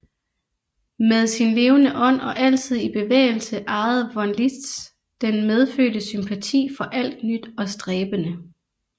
Med sin levende ånd og altid i bevægelse ejede von Liszt den medfødte sympati for alt nyt og stræbende